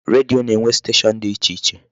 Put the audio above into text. Redio na-enwe station dị iche iche.